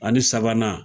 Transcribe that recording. Ani sabanan